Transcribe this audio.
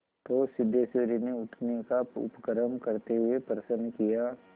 तो सिद्धेश्वरी ने उठने का उपक्रम करते हुए प्रश्न किया